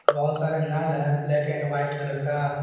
बहोत सारे नल है ब्लैक एंड व्हाइट कलर का।